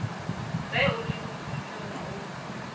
ge o le bodutung o